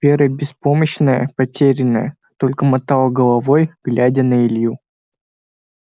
вера беспомощная потерянная только мотала головой глядя на илью